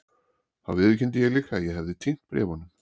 Þá viðurkenndi ég líka að ég hefði týnt bréfunum.